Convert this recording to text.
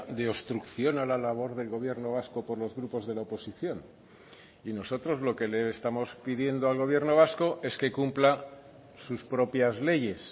de obstrucción a la labor del gobierno vasco por los grupos de la oposición y nosotros lo que le estamos pidiendo al gobierno vasco es que cumpla sus propias leyes